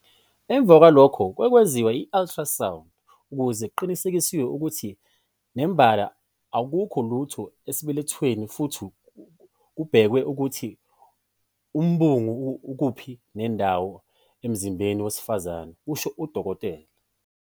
"Emva kwalokho kwenziwa i-ultrasound ukuze kuqinisekiswe ukuthi nembala akukho lutho esibelethweni futhi kubhekwe ukuthi umbungu ukuphi nendawo emzimbeni wowesifazane," kusho uDkt.